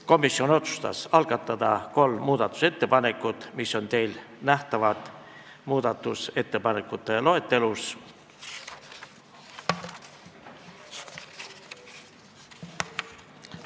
Komisjon otsustas algatada kolm muudatusettepanekut, mis on teile nähtavad muudatusettepanekute loetelus.